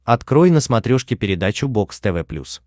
открой на смотрешке передачу бокс тв плюс